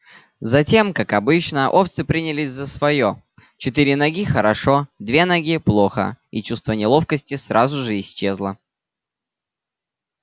затем как обычно овцы принялись за своё четыре ноги хорошо две ноги плохо и чувство неловкости сразу же исчезло